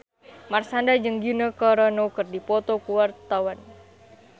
Marshanda jeung Gina Carano keur dipoto ku wartawan